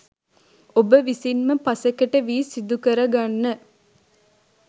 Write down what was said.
ඔබ විසින්ම පසෙකට වී සිදුකරගන්න